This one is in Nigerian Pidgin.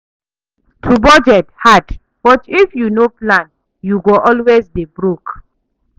To budget hard, but if you no plan, you go always dey broke.